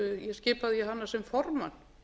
skipaði ég sem formann